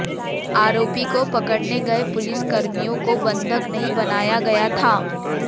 आरोपी को पकड़ने गए पुलिस कर्मियों को बंधक नहीं बनाया गया था